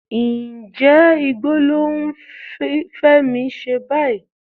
Ǹjẹ́ igbó ló ń Fẹ́mi ṣe báyìí?